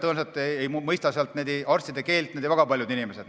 Tõenäoliselt ei mõista n-ö arstide keelt väga paljud inimesed.